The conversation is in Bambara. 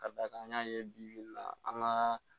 Ka d'a kan an y'a ye bi bi in na an ka